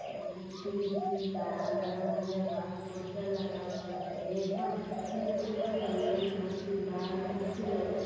अम्म्म खिड़की बा दरवाजा बा पोस्टर लगावल बाटे आद मी बइठल बना धरती बान कुर्सी लउकत --